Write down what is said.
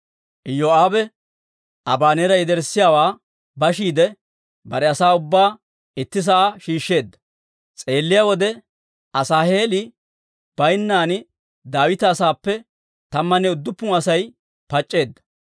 Iyoo'aabe Abaneera yederssiyaawaa bashiide, bare asaa ubbaa itti sa'aa shiishsheedda; s'eelliyaa wode, Asaaheeli baynnan Daawita asaappe tammanne udduppun Asay pac'c'eedda.